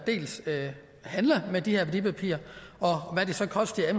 handler med de her værdipapirer og hvad de så koster